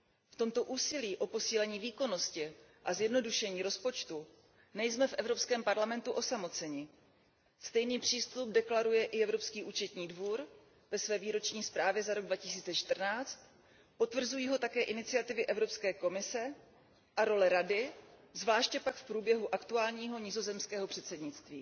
V tomto úsilí o posílení výkonnosti a zjednodušení rozpočtu nejsme v Evropském parlamentu osamoceni. Stejný přístup deklaruje i Evropský účetní dvůr ve své výroční zprávě za rok 2014. Potvrzují ho také iniciativy Evropské komise a role Rady, zvláště pak v průběhu aktuálního nizozemského předsednictví.